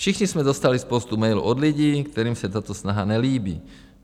Všichni jsme dostali spoustu mailů od lidí, kterým se tato snaha nelíbí.